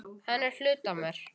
Hann er hluti af mér.